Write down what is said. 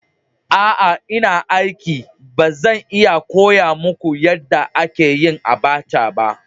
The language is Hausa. Aa ina aiki. Ba zan iya koya muku yadda ake yin abacha ba.